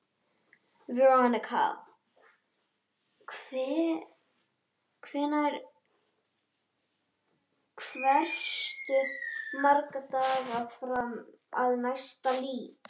Veronika, hversu margir dagar fram að næsta fríi?